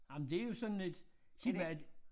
Ej men det jo sådan et sig mig er det